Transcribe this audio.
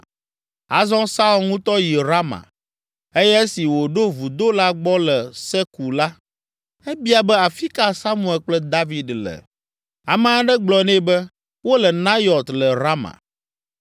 Azɔ Saul ŋutɔ yi Rama eye esi wòɖo vudo la gbɔ le Seku la, ebia be “Afi ka Samuel kple David le?” Ame aɖe gblɔ nɛ be, “Wole Nayɔt le Rama.”